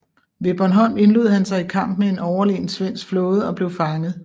Ved Bornholm indlod han sig i kamp med en overlegen svensk flåde og blev fanget